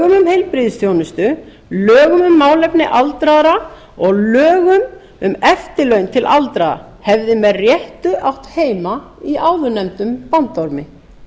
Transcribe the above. um heilbrigðisþjónustu lögum um málefni aldraðra og lögum um eftirlaun til aldraðra hefði með réttu átt heima í áðurnefndum bandormi